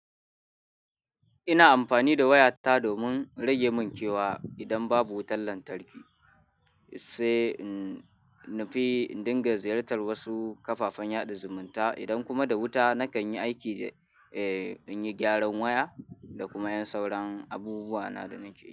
Ina amfani da waya ta domin rage munkewa idan babu wutar lantarki, sai na fi dinga ziyartar wasu kafafen yaɗa zumunta idan kuma da wuta nakan yi aiki da, eh in yi gyaran waya da kuma yin sauran abubuwa na da nake yi.